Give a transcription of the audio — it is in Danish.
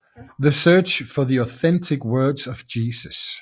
The Search for the Authentic Words of Jesus